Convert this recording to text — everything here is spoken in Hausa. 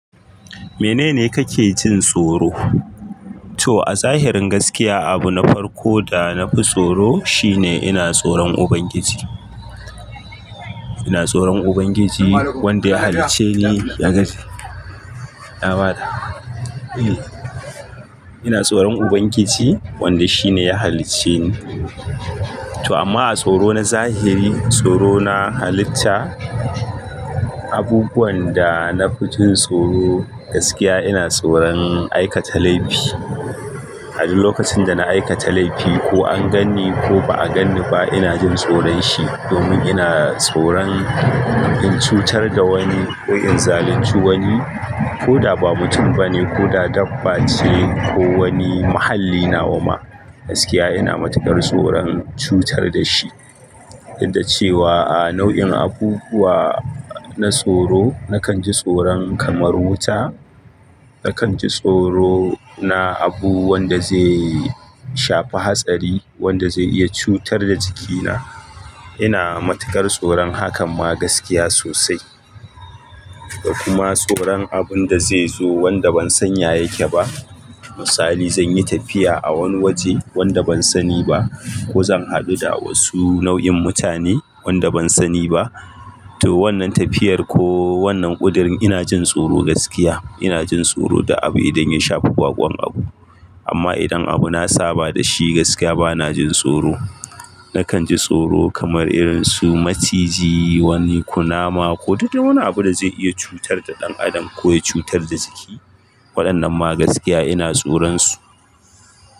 Menene kake jin tsoro? To a zahirin gaskiya, abu na farko da na fi tsoro shine ina tsoron Ubangiji. Ina tsoron Ubangiji wanda ya halicce ni, ya gani. Ina tsoron Ubangiji wanda shi ne ya halicce ni. To amma a tsoro na zahiri, tsoro na halitta, abubuwan da na fi jin tsoro gaskiya ina tsoron aikata laifi. A duk lokacin da na aikata laifi ko an ganni ko ba a ganni ba, ina jin tsoron shi domin ina tsoron in cutar da wani ko in zalunci wani ko da ba mutum ba ne ko da dabba ce ko wani mahallinawa ma, gaskiya ina matukar tsoron cutar da shi. Yadda cewa a nau'in abubuwa na tsoro, nakan ji tsoron kamar wuta. Nakan ji tsoro na abu wanda zai shafi hatsari, wanda zai iya cutar da jikina. Ina matukar tsoron hakan ma gaskiya sosai. Da kuma tsoron abun da zai zo wanda ban san ya yake ba. Misali, zan yi tafiya a wani waje wanda ban sani ba ko zan haɗu da wasu nau'in mutane wanda ban sani ba. To wannan tafiyar ko wannan ƙudurin ina jin tsoro gaskiya. Ina jin tsoro duk abu idan ya shafi baƙon abu. Amma idan abu na saba da shi gaskiya bana jin tsoro. Nakan ji tsoro kamar irin su maciji, wani kunama ko duk wani abu da zai iya cutar da ɗan adam ko ya cutar da jiki. Waɗannan ma gaskiya ina tsoron su.